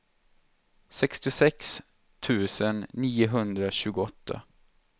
sextiosex tusen niohundratjugoåtta